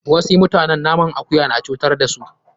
Wasu mutane naman akuya na cutar da su.